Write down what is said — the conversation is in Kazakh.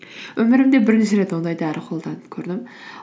өмірімде бірінші рет ондай дәрі қолданып көрдім